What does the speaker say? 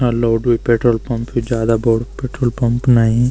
अ लोड वे petrol pump जादा बडू पेट्रोल पंप नई।